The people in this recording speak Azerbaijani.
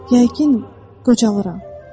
Yəqin, qocalıram.